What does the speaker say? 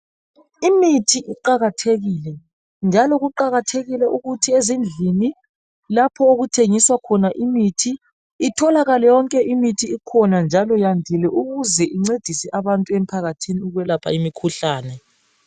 Imithi iqakathekile, njalo kuqakathekile ukuthi ezindlini lapho okuthengiswa khona imithi, itholakale yonke imithi ikhona njalo iyandil ukuze incedise abantu emphakathini ekwelapha imikhuhlane.